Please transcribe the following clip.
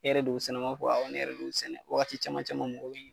E yɛrɛ de y'u sɛnɛ wa n ma fɔ awɔ ne yɛrɛ de y'u sɛnɛ waati caman caman mɔgɔw bɛ